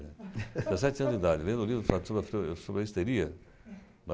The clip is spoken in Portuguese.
(risos(Eu tinha sete anos de idade, lendo livro sobre a histeria.